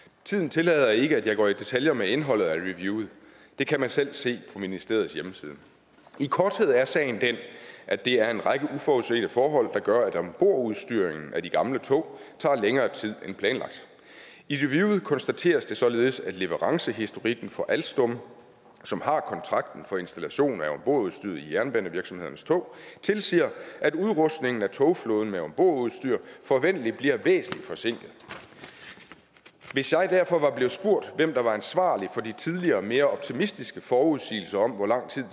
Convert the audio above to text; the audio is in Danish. tiden tillader ikke at jeg går i detaljer med indholdet af reviewet det kan man selv se på ministeriets hjemmeside i korthed er sagen den at det er en række uforudsete forhold der gør at ombordudstyringen af de gamle tog tager længere tid end planlagt i reviewet konstateres det således at leverancehistorikken for alstom som har kontrakten for installation af ombordudstyret i jernbanevirksomhedernes tog tilsiger at udrustningen af togflåden med ombordudstyr forventelig bliver væsentligt forsinket hvis jeg derfor var blevet spurgt hvem der var ansvarlig for de tidligere mere optimistiske forudsigelser om hvor lang tid